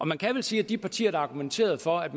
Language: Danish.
man kan vel sige at de partier der argumenterede for at